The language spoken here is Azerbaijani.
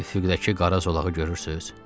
Üfüqdəki qara zolağı görürsüz?